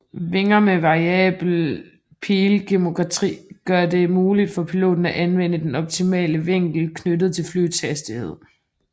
Vinger med variabel pilgeometri gør det muligt for piloten at anvende den optimale vinkel knyttet til flyets hastighed